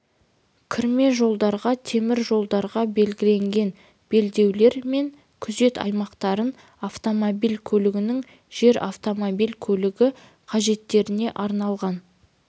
кірме жолдарға темір жолдарға берілген белдеулер мен күзет аймақтарына автомобиль көлігінің жер автомобиль көлігі қажеттеріне арналған